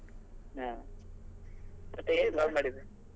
ಹ ಮತ್ತೆ ಏನ್ call ಮಾಡಿದ್ದು?